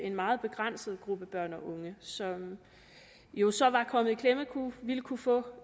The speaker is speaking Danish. en meget begrænset gruppe børn og unge som jo så var kommet i klemme ville kunne få